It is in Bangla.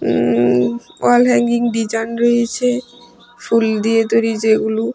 উম ওয়াল হ্যাংগিং ডিজান রয়েছে ফুল দিয়ে তৈরি যেগুলো।